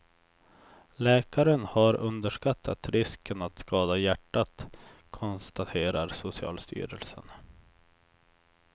Läkaren har underskattat risken att skada hjärtat, konstaterar socialstyrelsen.